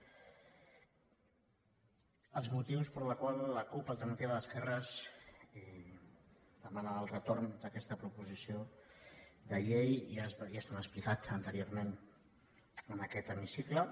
els motius pels quals la cup alternativa d’esquerres demana el retorn d’aquesta proposició de llei ja s’han explicat anteriorment en aquest hemicicle